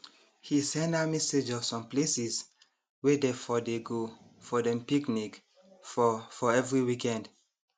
he send her message of some places wey dey for dey go for dem picnic for for every weekend